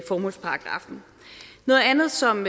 formålsparagraffen noget andet som